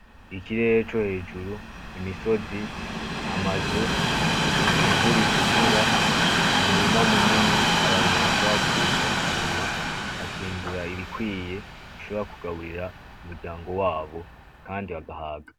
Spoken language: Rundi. Ikirere co hejuru, imisozi amazu ivu ritukura umurima munini abantu bashobora kuza bakarima, bakimbura ibikwiye bishobora kugaburira umuryango wabo kandi bagahaga.